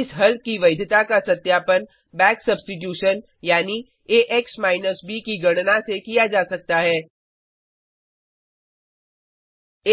इस हल की वैधता का सत्यापन बैक सब्स्टिटूशन यानी ax ब की गणना से किया जा सकता है